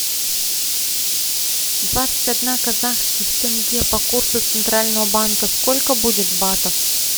двадцать одна казахских тенге по курсу центрального банка сколько будет батов